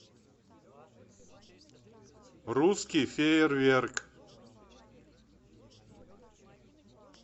русский фейерверк